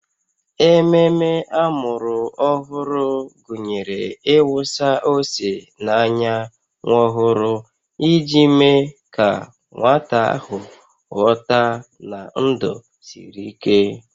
Ememe amụrụ ọhụrụ gụnyere ịwụsa ose n'anya nwa ọhụrụ iji mee ka nwata ahụ ghọta na ndụ siri ike